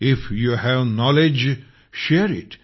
if you have knowledge share it